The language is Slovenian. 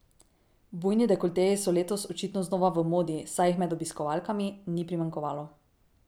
Bujni dekolteji so letos očitno znova v modi, saj jih med obiskovalkami ni primanjkovalo.